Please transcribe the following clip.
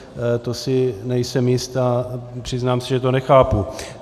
To si nejsem jist a přiznám se, že to nechápu.